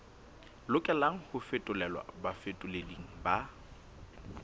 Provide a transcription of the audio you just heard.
lokelang ho fetolelwa bafetoleding ba